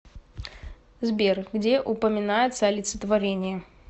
сбер где упоминается олицетворение